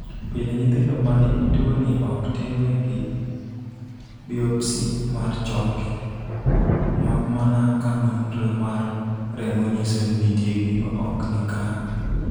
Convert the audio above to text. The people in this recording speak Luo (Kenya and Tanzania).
Pile, nyithindo ma nigi tuwoni ok timnegi biopsy mar choke, mak mana ka nonro mar remo nyiso ni nitie gima ok ni kare.